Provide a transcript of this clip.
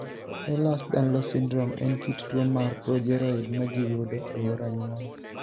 Ehlers Danlos syndrome en kit tuo mar progeroid ma ji yudo e yor anyuola.